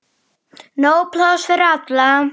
Nóg pláss fyrir alla.